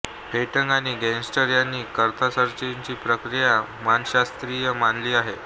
Freytag आणि Gassner यांनी कॅथार्सिसची प्रक्रिया मानसशास्त्रीय मानली आहे